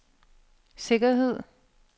sikkerhed